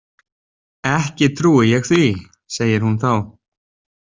Ekki trúi ég því, segir hún þá.